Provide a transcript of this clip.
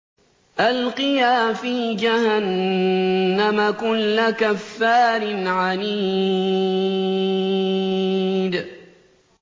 أَلْقِيَا فِي جَهَنَّمَ كُلَّ كَفَّارٍ عَنِيدٍ